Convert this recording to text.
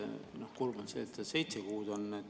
Kurb on, et see seitsmeks kuuks on.